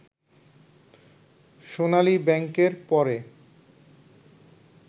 সোনালী ব্যাংকের পরে